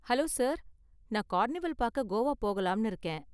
Hello sir, நான் carnival பாக்க கோவா போகலாம்னு இருக்கேன்.